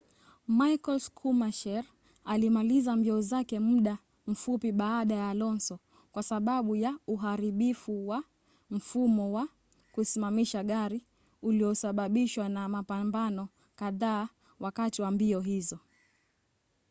michael schumacher alimaliza mbio zake muda mfupi baada ya alonso kwa sababu ya uharibifu wa mfumo wa kusimamisha gari uliosababishwa na mapambano kadhaa wakati wa mbio hizo